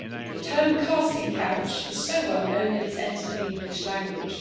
The term casting couch' is so well known that it has entered the English language.